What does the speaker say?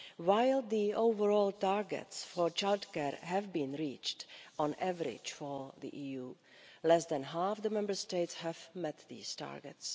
While the overall targets for childcare have been reached on average for the EU, less than half of the Member States have met these targets.